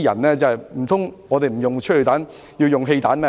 難道警隊不用催淚彈，而要用汽油彈嗎？